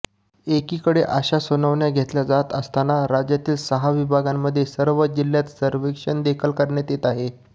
एकीकडे अशा सुनावण्या घेतल्या जात असताना राज्यातील सहा विभागांमधील सर्व जिल्ह्यांत सर्वेक्षणदेखील करण्यात येत आहे